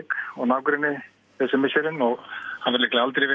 og nágrenni þessi misserin og hafa líklega aldrei verið